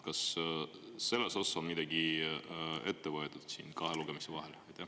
Kas selles osas on midagi ette võetud siin kahe lugemise vahel?